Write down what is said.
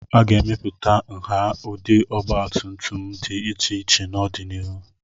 A ga-emepụta nha na ụdị ọgbatumtum dị iche iche n'ọdịnihu.